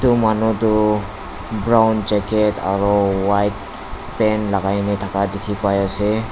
edu manu toh brown jacket aro white pant lakai na thaka dikhipaiase.